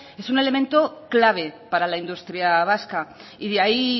es un elemento clave para la industria vasca y de ahí